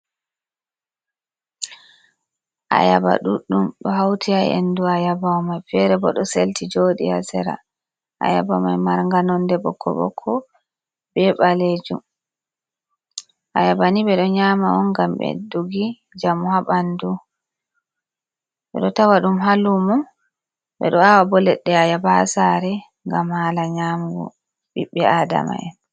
Ayaba ɗuɗɗum ɗo hauti haa endu ayaba mai, fere bo ɗo selti joɗi ha sera. Ayaba mai marnga nonde ɓokko-ɓokko be ɓalejum. Ayaba ni ɓeɗo nyama on ngam ɓedduki njamu haa ɓandu, ɓeɗo tawa ɗum ha lumo, ɓeɗo awa bo leɗɗe ayaba ha sare ngam hala nyamugo ɓiɓɓe Adama'en.